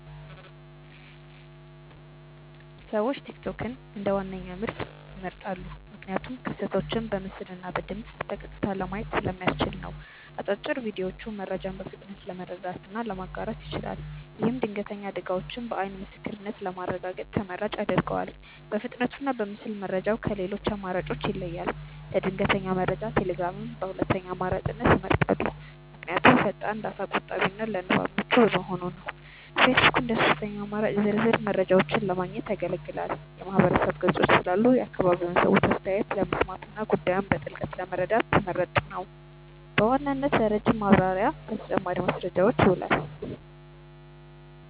ሰዎች ቲክቶክን እንደ ዋነኛ ምንጭ ይመርጣሉ። ምክንያቱም ክስተቶችን በምስልና በድምፅ በቀጥታ ለማየት ስለሚያስችል ነው። አጫጭር ቪዲዮዎቹ መረጃን በፍጥነት ለመረዳትና ለማጋራት ይችላል። ይህም ድንገተኛ አደጋዎችን በዓይን ምስክርነት ለማረጋገጥ ተመራጭ ያደርገዋል። በፍጥነቱና በምስል መረጃው ከሌሎች አማራጮች ይለያል። ለድንገተኛ መረጃ ቴሌግራምን በሁለተኛ አማራጭነት ይመርጣሉ። ምክንያቱም ፈጣን፣ ዳታ ቆጣቢና ለንባብ ምቹ በመሆኑ ነው። ፌስቡክ እንደ ሦስተኛ አማራጭ ዝርዝር መረጃዎችን ለማግኘት ያገለግላል። የማህበረሰብ ገጾች ስላሉ የአካባቢውን ሰዎች አስተያየት ለመስማትና ጉዳዩን በጥልቀት ለመረዳት ተመራጭ ነው። በዋናነት ለረጅም ማብራሪያና ለተጨማሪ ማስረጃዎች ይውላል።